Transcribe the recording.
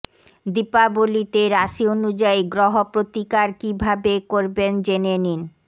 দীপাবলিতে রাশি অনুযায়ী গ্রহ প্রতিকার কী ভাবে করবেন জেনে নিন